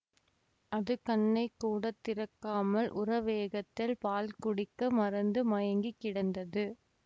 அது கண்ணைக்கூடத் திறக்காமல் உரவேகத்தில் பால் குடிக்க மறந்து மயங்கி கிடந்தது